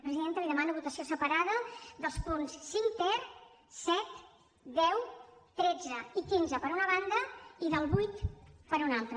presidenta li demano votació separada dels punts cinc ter set deu tretze i quinze per una banda i del vuit per una altra